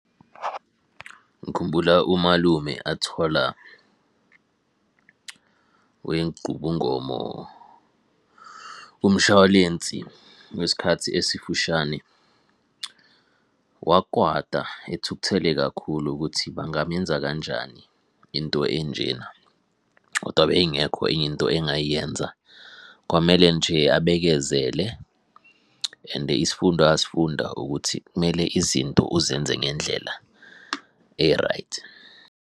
Ngikhumbula umalume athola wenqubongomo umshwalensi wesikhathi esifushane wakwata ethukuthele kakhulu ukuthi bangamenza kanjani into enjena. Koda beyingekho enye into engayenza, kwamele nje abekezele and isifundo asifunda ukuthi kumele izinto uzenze ngendlela e-right.